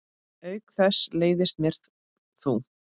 Auk þess leiðist mér þú.